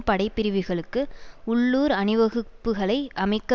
படைப்பிரிவுகளுக்கு உள்ளூர் அணிவகுப்புக்களை அமைக்க